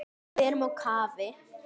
Við erum á kafi.